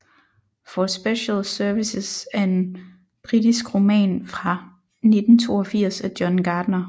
For Special Services er en britisk roman fra 1982 af John Gardner